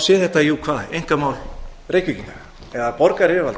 sé þetta einkamál reykvíkinga eða borgaryfirvalda